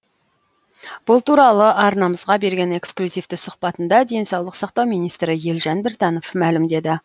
бұл туралы арнамызға берген эксклюзивті сұхбатында денсаулық сақтау министрі елжан біртанов мәлімдеді